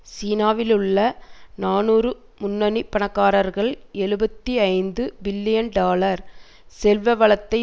சீனாவிலுள்ள நாநூறு முன்னணி பணக்காரர்கள் எழுபத்து ஐந்து பில்லியன் டாலர் செல்வ வளத்தை